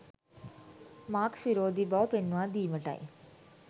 Marx විරෝධී බව පෙන්වා දීමටයි.